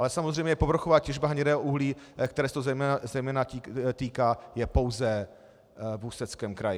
Ale samozřejmě povrchová těžba hnědého uhlí, které se to zejména týká, je pouze v Ústeckém kraji.